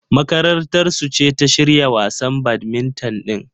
Makarantar su ce ta shirya wasan badmintan din.